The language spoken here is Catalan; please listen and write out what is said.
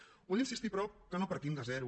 ho he d’insistir però que no partim de zero